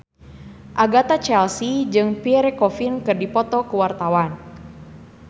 Agatha Chelsea jeung Pierre Coffin keur dipoto ku wartawan